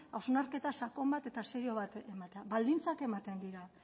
hausnarketa sakon bat eta serio bat ematea baldintzak ematen dira